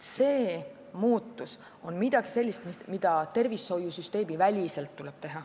See muutus on midagi sellist, mis tuleb teha tervishoiusüsteemiväliselt.